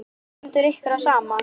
Stendur ykkur á sama?